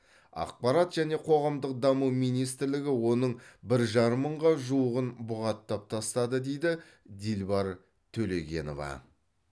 ақпарат және қоғамдық даму министрлігі оның бір жарым мыңға жуығын бұғаттап тастады дейді дилбар төлегенова